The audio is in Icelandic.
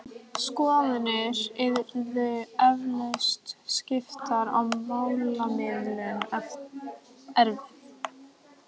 Skoðanir yrðu eflaust skiptar og málamiðlun erfið.